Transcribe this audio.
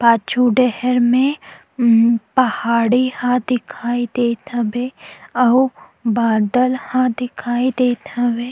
पाछू डहर मे पहाड़ी हवय दिखाई देत हवे आउ बादल ह दिखाई देत हवे--